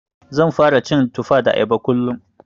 Zan fara cin Tufa da Ayaba kullum.